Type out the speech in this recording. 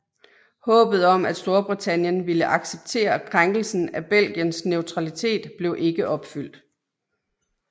Håbet om at Storbritannien ville acceptere krænkelsen af Belgiens neutralitet blev ikke opfyldt